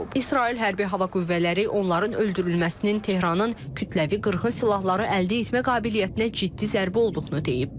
İsrail hərbi hava qüvvələri onların öldürülməsinin Tehranın kütləvi qırğın silahları əldə etmə qabiliyyətinə ciddi zərbə olduğunu deyib.